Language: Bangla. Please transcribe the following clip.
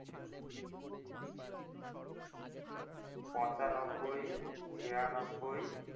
পঁচানব্বই ছিয়ানব্বই